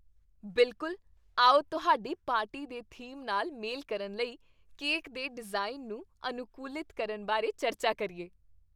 ਬਿਲਕੁਲ! ਆਓ ਤੁਹਾਡੀ ਪਾਰਟੀ ਦੇ ਥੀਮ ਨਾਲ ਮੇਲ ਕਰਨ ਲਈ ਕੇਕ ਦੇ ਡਿਜ਼ਾਈਨ ਨੂੰ ਅਨੁਕੂਲਿਤ ਕਰਨ ਬਾਰੇ ਚਰਚਾ ਕਰੀਏ।